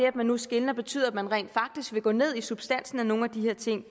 at man nu skelner betyder at man rent faktisk vil gå ned i substansen af nogle af de her ting